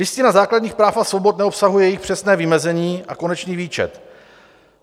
Listina základních práv a svobod neobsahuje jejich přesné vymezení a konečný výčet.